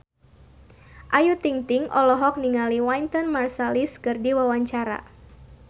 Ayu Ting-ting olohok ningali Wynton Marsalis keur diwawancara